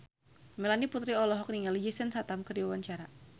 Melanie Putri olohok ningali Jason Statham keur diwawancara